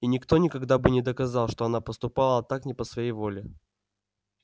и никто никогда бы не доказал что она поступала так не по своей воле